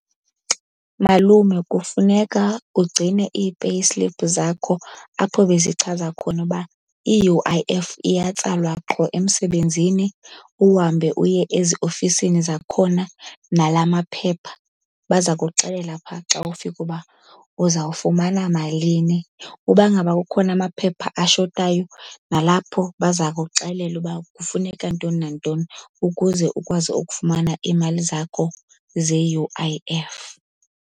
Malume kufuneka ugcine ii-payslip zakho apho bezichaza khona uba i-U_I_F iyatsalwa qho emsebenzini, uhambe uye eziofisini zakhona nala maphepha. Baza kuxelela phaa xa ufika uba uzawufumana malini. Uba ngaba kukhona amaphepha ashotayo nalapho baza kuxelela uba kufuneka ntoni nantoni ukuze ukwazi ukufumana iimali zakho ze-U_I_F.